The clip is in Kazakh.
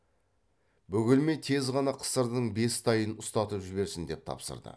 бөгелмей тез ғана қысырдың бес тайын ұстатып жіберсін деп тапсырды